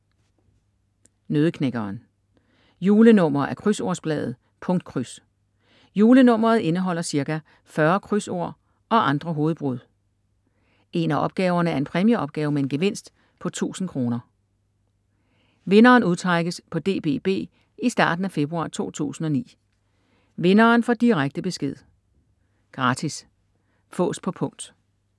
Nøddeknækkeren Julenummer af Krydsordsbladet Punktkryds. Julenummeret indeholder ca. 40 krydsord og andre hovedbrud. En af opgaverne er en præmieopgave med en gevinst på 1000 kr. Vinderen udtrækkes på DBB i starten af februar 2009. Vinderen får direkte besked. Gratis. Fås på punkt